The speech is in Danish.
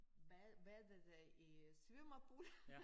Bad badede i svømmepøl